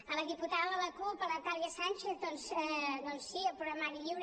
a la diputada de la cup la natàlia sànchez doncs sí el programari lliure